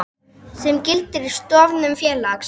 sem gildir við stofnun félags.